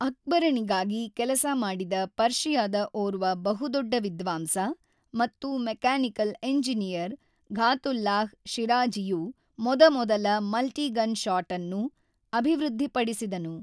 ಅಕ್ಬರನಿಗಾಗಿ ಕೆಲಸ ಮಾಡಿದ ಪರ್ಷಿಯಾದ ಒರ್ವ ಬಹುದೊಡ್ಡ ವಿದ್ವಾಂಸ ಮತ್ತು ಮೆಕ್ಯಾನಿಕಲ್ ಎಂಜಿನಿಯರ್ ಫಾತುಲ್ಲಾಹ್ ಶಿರಾಝಿಯು ಮೊದಮೊದಲ ಮಲ್ಟಿ-ಗನ್‌ ಶಾಟ್‌ಅನ್ನು ಅಭಿವೃದ್ಧಿಪಡಿಸಿದನು.